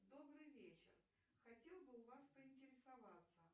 добрый вечер хотела бы у вас поинтересоваться